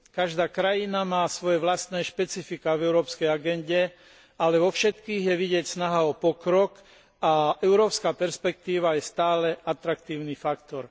Každá krajina má svoje vlastné špecifiká v európskej agende, ale vo všetkých je vidieť snahu o pokrok a európska perspektíva je stále atraktívny faktor.